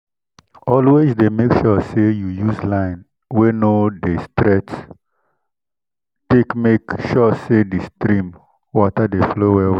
always dey make sure say you use line wey no dey straight take make sure say di stream water dey flow well well